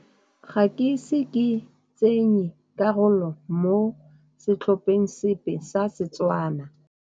Ga ke ise ke tseye karolo mo setlhopheng sepe sa Setswana.